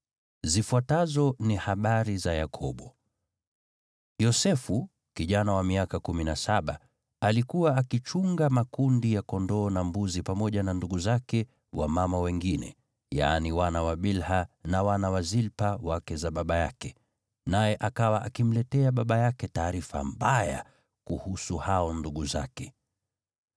Zifuatazo ni habari za Yakobo. Yosefu, kijana wa miaka kumi na saba, alikuwa akichunga makundi ya kondoo na mbuzi pamoja na ndugu zake wa mama wengine, yaani wana wa Bilha na wana wa Zilpa wake za baba yake, naye akawa akimletea baba yake taarifa mbaya kuhusu hao ndugu zake.